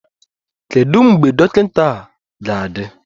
Kedu mgbe dọkịta ga-adị?